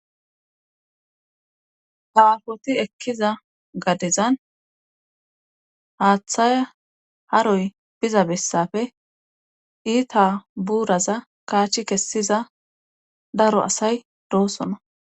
Hawafoti ekkiza gadezan haaththay haroy biza bessafe iita buuraza kaachi kessiza daro asay doosona.